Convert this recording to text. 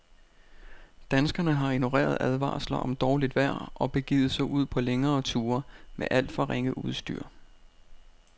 Danskerne har ignoreret advarsler om dårligt vejr og begivet sig ud på længere ture med alt for ringe udstyr.